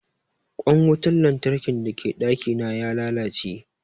Ƙwan wutan lantarkin da ke ɗaki na ya lalace